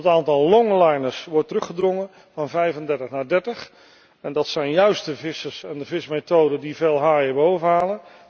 Het aantal longliners wordt teruggedrongen van 35 naar 30 en dat zijn juist de vissers en de vismethoden die veel haaien bovenhalen.